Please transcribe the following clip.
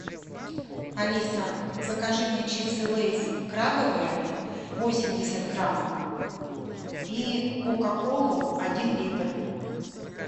алиса закажи мне чипсы лейс крабовые восемьдесят грамм и кока колу один литр